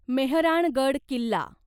Mehrangarh Killa